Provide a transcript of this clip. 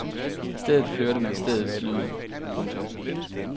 I stedet hørte man stedets lyde. punktum